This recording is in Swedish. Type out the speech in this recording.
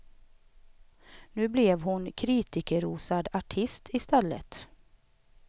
Nu blev hon kritikerrosad artist i stället.